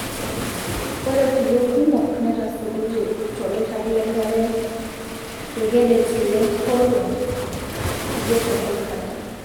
Ore kulie kumok netasotote toloirag lengare tokedet le Howrah tidie te Kolkata.